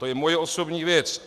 To je moje osobní věc.